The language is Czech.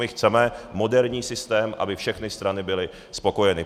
My chceme moderní systém, aby všechny strany byly spokojeny.